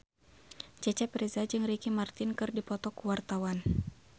Cecep Reza jeung Ricky Martin keur dipoto ku wartawan